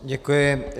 Děkuji.